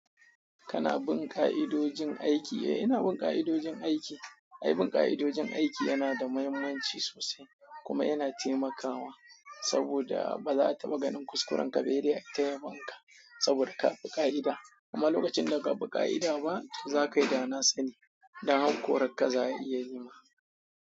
Kana bin ka'idojin aiki, eh ina bin ka'idojin aiki. Ai, bin ka'idojin aiki yana da muhimmanci sosai kuma yana taimakawa saboda ba za ta maganin kuskuren kabejiya ta yabonka saboda ka bi ka'ida. Kuma lokacin da ka bi ka'ida ba, za ka yi danasani dan har karanta za a iya yi ma.